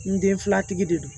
N denfilatigi de don